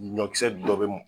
Ɲɔkisɛ dɔ be m